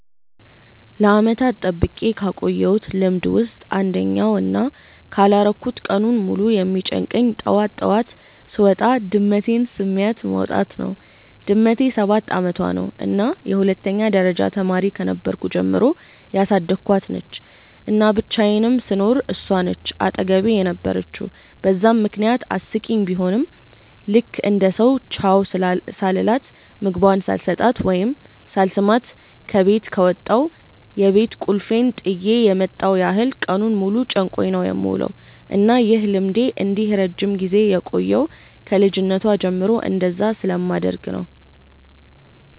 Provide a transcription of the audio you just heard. ለዓመታት ጠብቄ ካቆየውት ልምድ ውስጥ አንደኛው እና ካላረኩት ቀኑን ሙሉ የሚጨንቀኝ ጠዋት ጠዋት ስወጣ ድመቴን ስሚያት መውጣት ነው። ድመቴ ሰባት አመቷ ነው እና የሁለተኛ ደረጃ ተማሪ ከነበርኩ ጀምሮ ያሳደኳት ነች፤ እና ብቻየንም ስኖር እሷ ነች አጠገቤ የነበረችው በዛም ምክንያት አስቂኝ ቡሆም ልክ እንደ ሰው ቻው ሳልላት፣ ምግቧን ሳልሰጣት ወይም ሳልስማት ከበት ከወጣው የቤት ቁልፌን ጥየ የመጣው ያህል ቀኑን ሙሉ ጨንቆኝ ነው የምውለው። እና ይህ ልምዴ እንዲህ ረጅም ጊዜ የቆየው ከ ልጅነቷ ጀምሮ እንደዛ ስለማደርግ ነው።